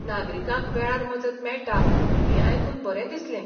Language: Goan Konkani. नागरिकांक वेळार मजत मेळटा हें आयकून बरें दिसलें.